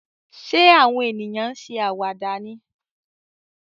Ṣé àwọn ènìyàn ń ṣe àwàdà ni?